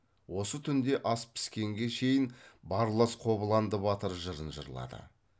осы түнде ас піскенге шейін барлас қобланды батыр жырын жырлады